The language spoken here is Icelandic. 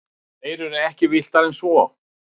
Þeir eru ekki villtari en svo.